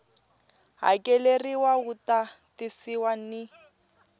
hakeleriwa wu ta tisiwa ni